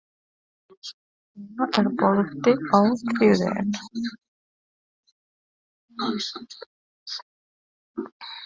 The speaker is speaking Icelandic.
Íma, er bolti á þriðjudaginn?